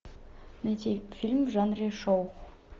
найти фильм в жанре шоу